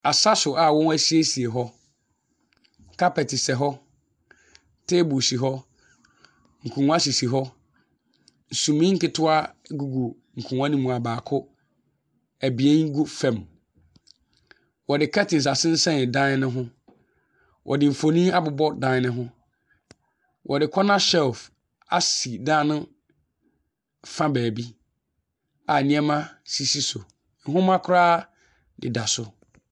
Asa so a wɔn asiesei hɔ. Carpet sɛ hɔ, table si hɔ, nkonnwa sisi hɔ, sumii nketewa gugu nkonnwa no mu a baako, abien gu fam. Wɔde curtains asensɛn dan no ho. Wɔde mfonin abobɔ dan no ho. Wɔde corner shelve asi dan nofa baabia nneɛma sisi so, nwoma koraa deda so.